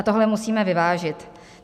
A tohle musíme vyvážit.